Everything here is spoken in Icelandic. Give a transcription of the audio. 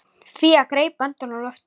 Fía greip andann á lofti.